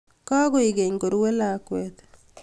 kagoek Keny korue lakwet